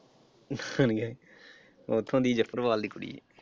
ਉਥੋਂ ਦੀ ਜਸੜਵਾਲ ਦੀ ਕੁੜੀ ਐ।